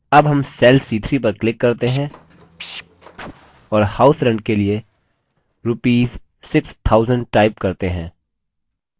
अब हम cell c3 पर click करते हैं और house rent के लिए rupees 6000 type करते हैं